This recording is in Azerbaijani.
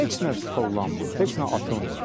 Heç nə tollanmır, heç nə atılmır.